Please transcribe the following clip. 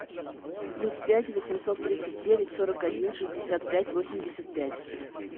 плюс пять восемьсот тридцать девять сорок один шестьдесят пять восемьдесят пять